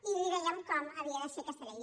i li dèiem com havia de ser aquesta llei